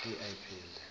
zeminye